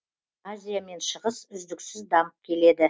азия мен шығыс үздіксіз дамып келеді